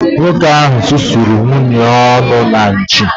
Nwoke ahụ susuru nwunye ya ọnụ na nchi